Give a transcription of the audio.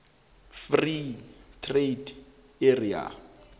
free trade area